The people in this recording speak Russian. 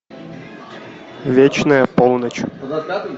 вечная полночь